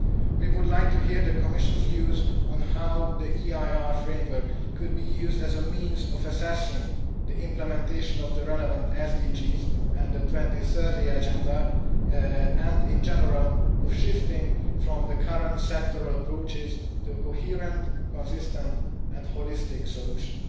We would like to hear the Commission's views on how the EIR framework could be used as a means of assessing the implementation of the relevant Sustainable Development Goals and the 2030 Agenda and, in general, of shifting from the current sectoral approaches to a coherent, consistent and holistic solution.